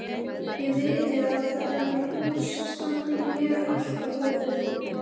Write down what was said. Ég viti að hennar hús standi mér alltaf opið.